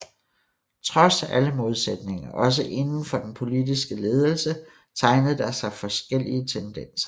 Trods alle modsætninger også inden for den politiske ledelse tegnede der sig forskellige tendenser